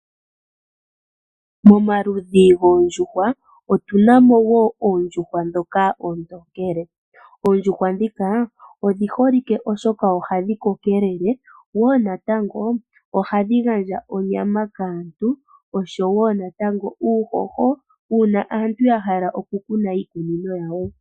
Momaludhi goondjuhwa, otuna mo wo oondjuhwa ndhoka oontokele. Oondjuhwa ndhika odhi holike oshoka ohadhi kokelele, ohadhi gandja wo onyama kaantu, noshowo uuhoho, uuna aantu yahala okukuna iimeno yawo.